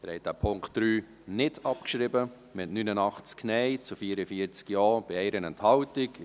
Sie haben den Punkt 3 nicht abgeschrieben, mit 89 Nein- zu 44 Ja-Stimmen bei 1 Enthaltung.